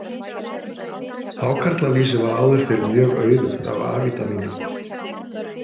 Hákarlalýsi var áður fyrr mjög auðugt af A-vítamíni.